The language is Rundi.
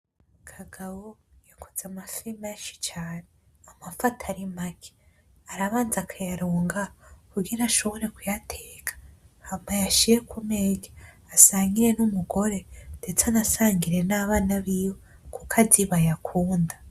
KAGABO yaguze amafi menshi cane ,amafi atari make, arabanza akayaronga kugira ashobore kuyateka ,hama ayashire kumeza, asangire n'umugore ,ndetse anasangire n'abana biwe kukazi bayakunda.